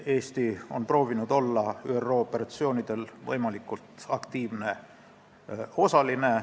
Eesti on proovinud olla ÜRO operatsioonidel võimalikult aktiivne osaline.